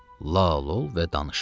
Lal ol və danışma.